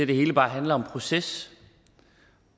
det hele bare handler om proces